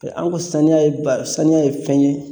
Ee an ka saniya ye ba saniya ye fɛn ye